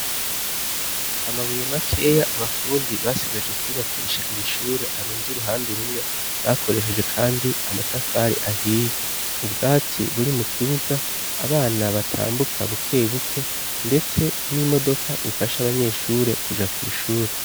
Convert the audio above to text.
Amabuye makeya abafundi basigaje kwubakisha iri shure arunze uruhande rumwe bakoresheje kandi amatafari ahiye, ubwatsi buri mu kibuga abana batambuka buke buke ndetse n'imodoka ifasha abanyeshure kuja kw'ishure.